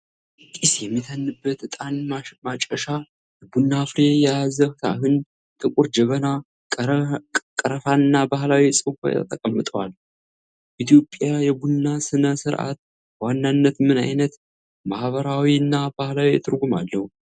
ጢስ የሚተንበት ዕጣን ማጨሻ፣ የቡና ፍሬ የያዘ ሳህን፣ ጥቁር ጀበና፣ ቀረፋና ባህላዊ ጽዋ ተቀምጠዋል። የኢትዮጵያ የቡና ሥነ ሥርዓት በዋናነት ምን ዓይነት ማኅበራዊና ባህላዊ ትርጉም አለው?